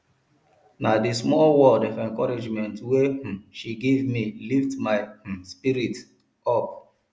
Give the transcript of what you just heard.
na di small word of encouragement wey um she give me lift my um spirit up spirit up